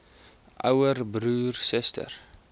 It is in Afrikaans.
ouer broer suster